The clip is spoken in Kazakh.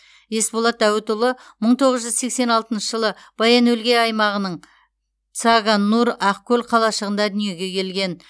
есболат дәуітұлы мың тоғыз жүз сексен алтыншы жылы баян өлгей аймағының цагааннуур ақкөл қалашығында дүниеге келген